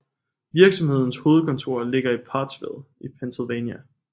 Virksomhedens hovedkontor ligger i Pottsville i Pennsylvania